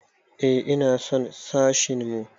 Eh ina son sashin mu.